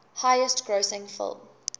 highest grossing film